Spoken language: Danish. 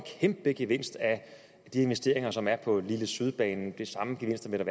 kæmpe gevinst af de investeringer som er på lille syd banen og de samme gevinster vil